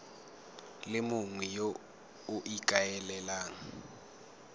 le mongwe yo o ikaelelang